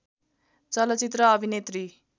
चलचित्र अभिनेत्री